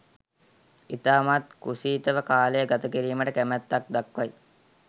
ඉතාමත් කුසීතව කාලය ගත කිරීමට කැමැත්තක් දක්වයි